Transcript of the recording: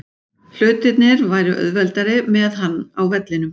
Hlutirnir væru auðveldari með hann á vellinum.